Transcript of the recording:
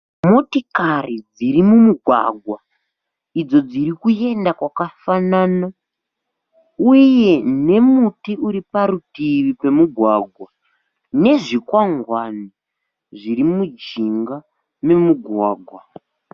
Motikari dziri mumugwagwa idzo dzirikuenda kwakafanana uye nemuti uriparutivi pemugwagwa nezvikwangwani zviri mujinga memugwagwa.